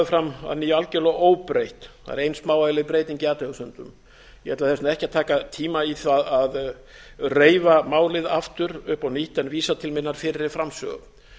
fram að nýju algjörlega óbreytt það er ein smávægileg breyting í athugasemdum ég ætla þess vegna ekki að taka tíma í það að reifa málið aftur upp á nýtt en vísa til minnar framsögu